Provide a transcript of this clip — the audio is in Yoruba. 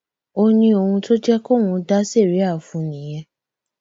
ó ní ohun tó jẹ kóun dá síríà fún un nìyẹn